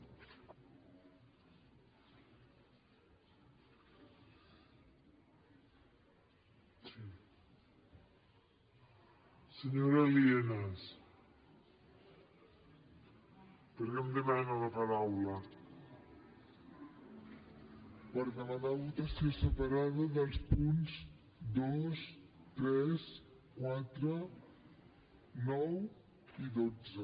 per demanar votació separada dels punts dos tres quatre nou i dotze